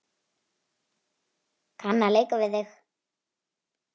Kann að leika við þig.